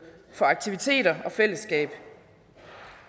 for aktiviteter og fællesskab